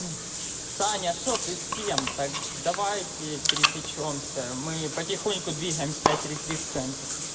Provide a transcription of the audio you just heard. саня что ты с кем так давайте пересечёмся мы потихоньку двигаемся пять три три в центр